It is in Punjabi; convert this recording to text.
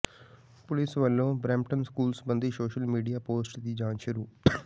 ਪੁਲਿਸ ਵਲੋਂ ਬਰੈਂਪਟਨ ਸਕੂਲ ਸਬੰਧੀ ਸੋਸ਼ਲ ਮੀਡੀਆ ਪੋਸਟ ਦੀ ਜਾਂਚ ਸ਼ੁਰੂ